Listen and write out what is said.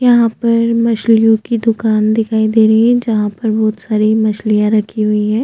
यहाँ पर मछलियों की दुकान दिखाई दे रहै है जहाँ पर बहोत सारे मछलियाँ रखी हुई हैं।